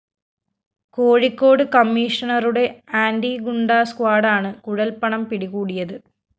കോഴിക്കോട് കമ്മീഷണറുടെ ആന്റി ഗുണ്ടാ സ്ക്വാഡാണ് കുഴല്‍പ്പണം പിടികൂടിയത്